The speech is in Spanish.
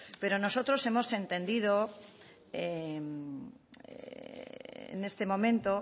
pero nosotros hemos entendido en este momento